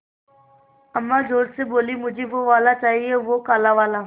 अम्मा ज़ोर से बोलीं मुझे वो वाला चाहिए वो काला वाला